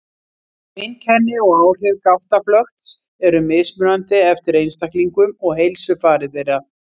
Einkenni og áhrif gáttaflökts eru mismunandi eftir einstaklingum og heilsufari þeirra.